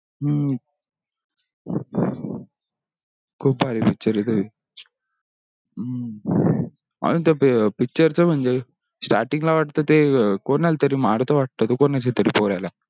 खूप भारी picture हे तो ही. अजून तो picture च म्हणजे starting ला वाटतो तो कोणाला तरी marto वाटतो तो कोणाचा तरी पोऱ्यला.